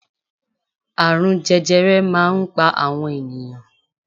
Àrùn jẹjẹrẹ máa ń pa àwọn ènìyàn